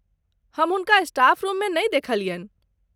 हम हुनका staff room मे नहि देखलियन्हि।